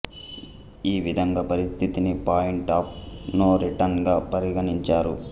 ఈ విధంగా పరిస్థితిని పాయింట్ ఆఫ్ నో రిటర్న్ గా పరిగణించారు